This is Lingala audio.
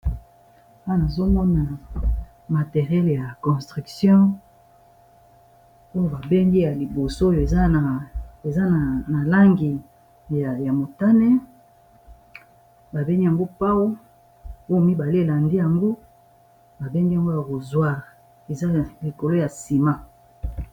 Wana azomona materiele ya construction oyo ba bengi ya liboso oyo eza na langi ya motane, ba bengi yamgo pau oyo mibale lande yango ba bengi yango ya kozwire eza likolo ya nsima.